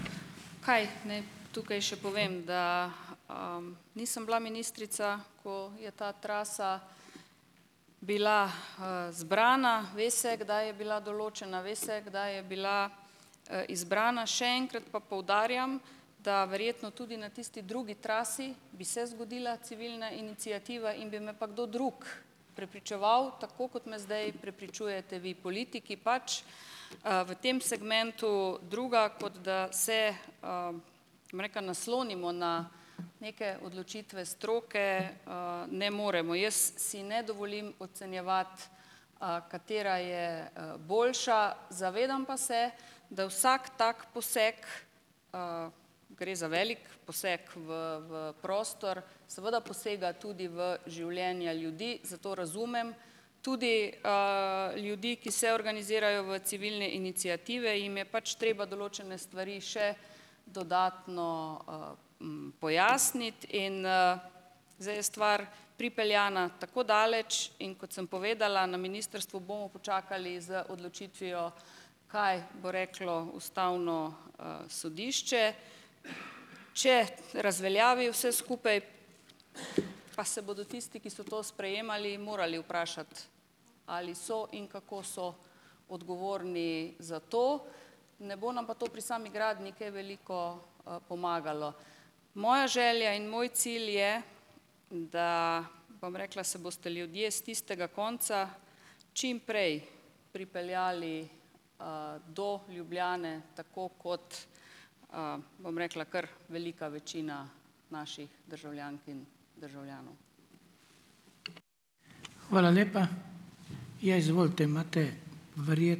Kaj naj tukaj še povem, da nisem bila ministrica, ko je ta trasa bila zbrana. Ve se, kdaj je bila določena, ve se, kdaj je bila izbrana. Še enkrat pa poudarjam, da verjetno tudi na tisti drugi trasi bi se zgodila civilna iniciativa in bi me pa kdo drug prepričeval, tako kot me zdaj prepričujete vi politiki pač, v tem segmentu druga, kot da se, bom rekla, naslonimo na neke odločitve stroke, ne moremo. Jaz si ne dovolim ocenjevati, katera je boljša, zavedam pa se, da vsak tak poseg, gre za velik poseg v v prostor, seveda posega tudi v življenja ljudi, zato razumem tudi ljudi, ki se organizirajo v civilne iniciative, jim je pač treba določene stvari še dodatno pojasniti in zdaj je stvar pripeljana tako daleč, in kot sem povedala, na ministrstvu bomo počakali z odločitvijo, kaj bo reklo Ustavno sodišče. Če razveljavi vse skupaj, pa se bodo tisti, ki so to sprejemali, morali vprašati, ali so in kako so odgovorni za to. Ne bo nam pa to pri sami gradnji kaj veliko pomagalo. Moja želja in moj cilj je, da, bom rekla, se boste ljudje s tistega konca čim prej pripeljali do Ljubljane, tako kot bom rekla, kar velika večina naših državljank in državljanov.